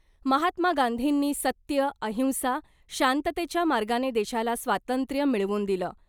महात्मा गांधींनी सत्य , अहिंसा , शांततेच्या मार्गाने देशाला स्वातंत्र्य मिळवून दिलं .